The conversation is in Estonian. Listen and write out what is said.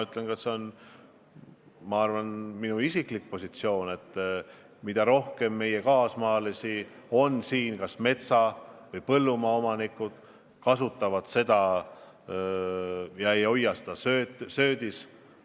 See on ka minu isiklik positsioon, et mida rohkem meie kaasmaalasi on siin kas metsa- või põllumaa omanikud, kasutavad seda ega hoia seda söödis, seda parem.